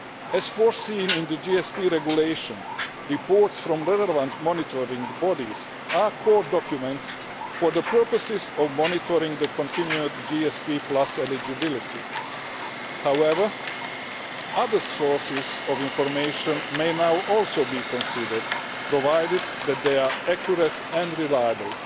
As foreseen in the GSP Regulation, reports from relevant monitoring bodies are core documents for the purposes of monitoring the continued GSP eligibility. However, other sources of information may now also be considered, provided that they are accurate and reliable.